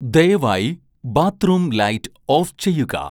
ദയവായി bathroom light off ചെയ്യുക